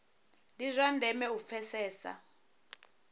ndi zwa ndeme u pfesesa